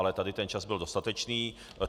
Ale tady ten čas byl dostatečný.